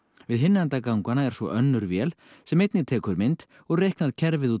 við hinn enda ganganna er svo önnur vél sem einnig tekur mynd og reiknar kerfið út